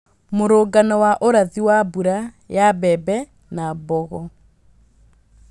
mũrũngano wa ũrathi wa mbura ya mbembe na mbogo